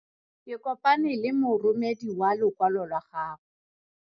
Ke kopane le moromedi wa lokwalo lwa gago.